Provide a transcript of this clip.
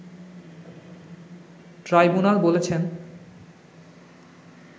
tribunal বলেছেন